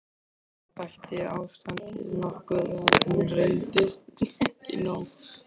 Það bætti ástandið nokkuð, en reyndist ekki nóg.